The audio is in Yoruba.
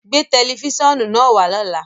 Gbé tẹlifísiọ́nù naá wà lọ́lá!